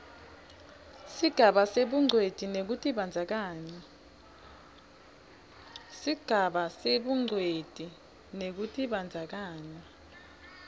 sigaba sebungcweti nekutibandzakanya